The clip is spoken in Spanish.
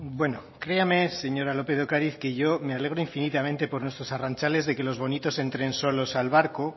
bueno créame señora lópez de ocariz que yo me alegro infinitamente por nuestros arrantzales de que los bonitos entren solos al barco